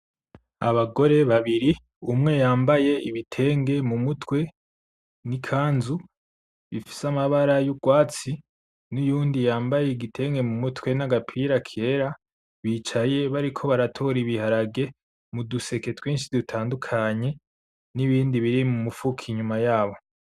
Abagore babiri, umwe yambaye ibitenge mu mutwe, n'ikanzu, bifise amabara y'ugwatsi, n'uyundi yambaye igitenge mu mutwe n'agapira kera, bicaye bariko baratora ibiharage mu duseke twinshi dutandukanye, n'ibindi biri mu mufuko inyuma yabo.